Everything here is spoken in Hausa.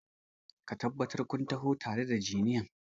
Ka tabbata kun taho tare da injiniyan!